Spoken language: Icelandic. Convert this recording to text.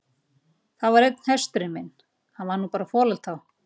Það var einn hesturinn minn, hann var nú bara folald þá.